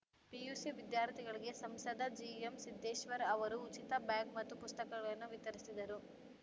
PUC ವಿದ್ಯಾರ್ಥಿಗಳಿಗೆ ಸಂಸದ ಜಿಎಂಸಿದ್ದೇಶ್ವರ್‌ ಅವರು ಉಚಿತ ಬ್ಯಾಗ್‌ ಮತ್ತು ಪುಸ್ತಕಗಳನ್ನು ವಿತರಿಸಿದರು